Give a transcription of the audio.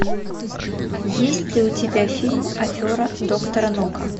есть ли у тебя фильм афера доктора нока